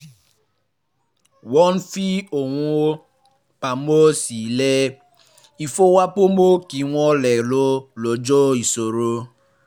wọ́n fi um owó pamọ́ sí ilé um ìfowópamọ́ kí wọ́n lè lo ó lọ́jọ́ ìṣòro